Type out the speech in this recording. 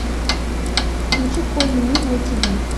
включи конный мир на тиви